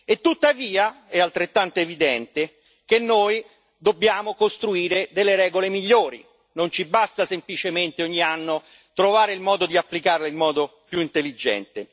E tuttavia, è altrettanto evidente, che noi dobbiamo costruire delle regole migliori non ci basta semplicemente ogni anno trovare il modo di applicarle in modo più intelligente.